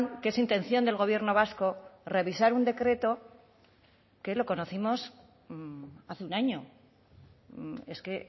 que es intención del gobierno vasco revisar un decreto que lo conocimos hace un año es que